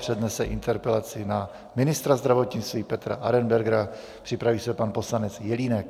Přednese interpelaci na ministra zdravotnictví Petra Arenbergera, připraví se pan poslanec Jelínek.